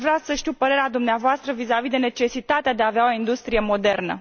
Deci, aș vrea să știu părerea dumneavoastră vizavi de necesitatea de a avea o industrie modernă.